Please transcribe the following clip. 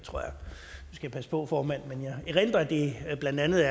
jeg passe på formand men jeg erindrer at det blandt andet